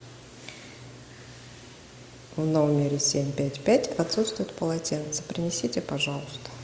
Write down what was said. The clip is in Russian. в номере семь пять пять отсутствует полотенце принесите пожалуйста